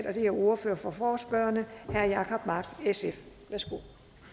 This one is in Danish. og det er ordføreren for forespørgerne herre jacob mark sf værsgo